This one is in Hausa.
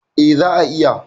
E, za'a iya.